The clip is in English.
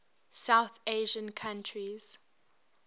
south asian countries